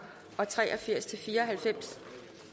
og tre og firs til fire og halvfems